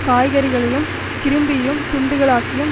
காய்கறிகளையும் கிரிம்பியும் துண்டுகளாக்கியும்